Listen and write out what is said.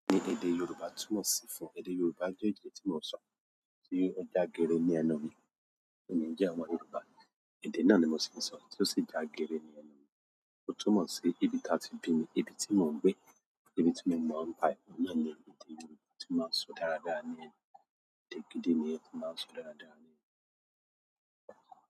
Èdè Yorùbá túmọ̀ sí fún, èdè Yorùbá jẹ́ èdè tí mò ń sọ́, tí ó jágere ní ẹnu mi. Emí jẹ́ àwọn Yorùbá, èdè náà ni mo sì ń sọ, tí ó sì jágere ní ẹnu mi. O tun mọ sí, ibí ta ti bimi, ibí ti mo n gbé, ibí ti mo mọ n pa e, ohun náà ni èdè gidi ti mo maa sọ dáradára ni ẹnu, èdè gidi nìyẹn ti mo máa n sọ dáadáa.